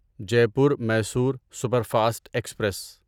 Jaipur Mysore superfast express